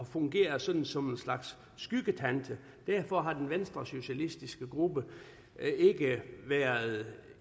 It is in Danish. fungere som som en slags skyggetante derfor har den venstresocialistiske gruppe ikke være